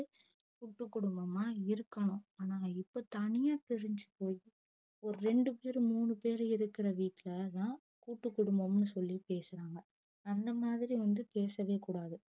கூட்டு குடும்பமா இருக்கணும் ஆனா இப்போ தனியா பிரிஞ்சு போய் ஒரு ரெண்டு பேர் மூணு பேர் இருக்குற வீட்லதான் கூட்டு குடும்பமும் சொல்லி பேசுறாங்க அந்த மாதிரி வந்து பேசவே கூடாது